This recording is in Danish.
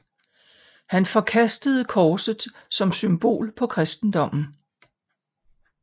Han forkastede korset som symbol på kristendommen